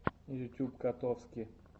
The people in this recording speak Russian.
ютюб котовски